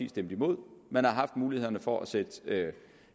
stemt imod man har haft mulighederne for at sætte